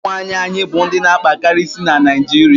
ụmụ nwanyịwaanyị bụ ndị na akpakari isi na Naịjiria